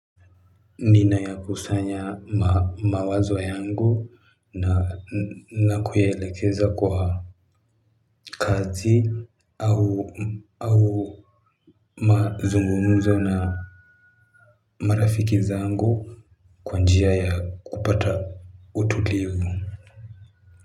Ninayakusanya mawazo yangu na kuelekeza kwa kazi au mazungumuzo na marafiki zangu kwa njia ya kupata utulivu.